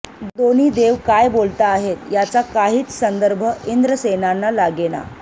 दोन्ही देव काय बोलताहेत याचा काहीच संदर्भ इंद्रसेनांना लागेना